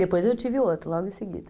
Depois eu tive outro, logo em seguida.